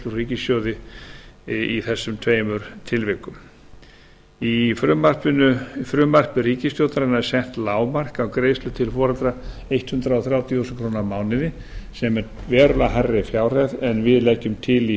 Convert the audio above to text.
úr ríkissjóði í þessum tveimur tilvikum í frumvarpi ríkisstjórnarinnar er sett lágmark á greiðslur til foreldra hundrað þrjátíu þúsund krónur á mánuði sem er verulega hærri fjárhæð en við leggjum til í